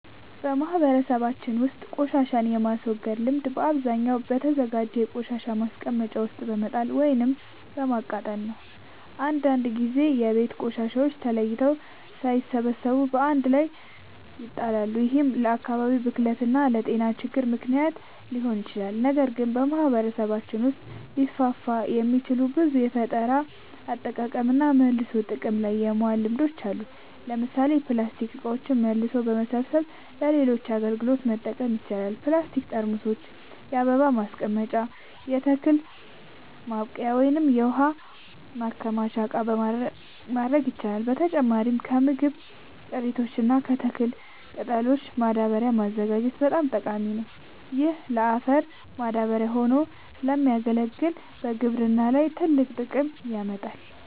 በማህበረሰባችን ውስጥ ቆሻሻን የማስወገድ ልምድ በአብዛኛው በተዘጋጀ የቆሻሻ ማስቀመጫ ውስጥ በመጣል ወይም በማቃጠል ነው። አንዳንድ ጊዜ የቤት ቆሻሻዎች ተለይተው ሳይሰበሰቡ በአንድ ላይ ይጣላሉ፤ ይህም ለአካባቢ ብክለት እና ለጤና ችግሮች ምክንያት ሊሆን ይችላል። ነገር ግን በማህበረሰባችን ውስጥ ሊስፋፉ የሚችሉ ብዙ የፈጠራ አጠቃቀምና መልሶ ጥቅም ላይ ማዋል ልምዶች አሉ። ለምሳሌ ፕላስቲክ እቃዎችን መልሶ በመሰብሰብ ለሌሎች አገልግሎቶች መጠቀም ይቻላል። የፕላስቲክ ጠርሙሶችን የአበባ ማስቀመጫ፣ የተክል ማብቀያ ወይም የውሃ ማከማቻ እቃ ማድረግ ይቻላል። በተጨማሪም ከምግብ ቅሪቶች እና ከተክል ቅጠሎች ማዳበሪያ ማዘጋጀት በጣም ጠቃሚ ነው። ይህ ለአፈር ማዳበሪያ ሆኖ ስለሚያገለግል በግብርና ላይ ትልቅ ጥቅም ያመጣል።